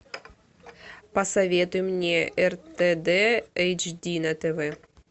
посоветуй мне ртд эйч ди на тв